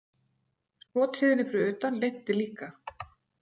Skothríðinni fyrir utan linnti líka.